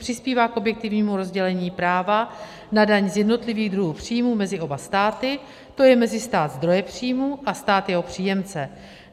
Přispívá k objektivnímu rozdělení práva na daň z jednotlivých druhů příjmů mezi oba státy, to je mezi stát zdroje příjmů a stát jeho příjemce.